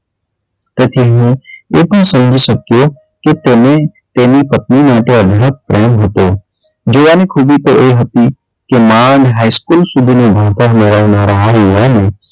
પછી હું એ પણ સમજી શક્યો તેને તેની પત્ની માટે અઢળક પ્રેમ હતો જોવાની ખૂબી તો એ હતી કે માંડ high school સુધીનું ભણતર મેળવનારા આ યુવાને,